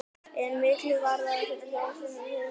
En miklu varðaði fyrir Þjóðverja að hafa gætur á þessu svæði.